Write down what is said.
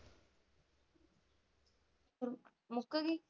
ਮੁੱਕਗੀ?